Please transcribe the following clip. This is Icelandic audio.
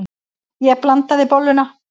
Ég blandaði bolluna.